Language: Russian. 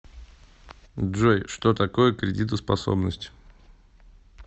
джой что такое кредитоспособность